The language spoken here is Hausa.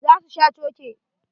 Za su sha coke.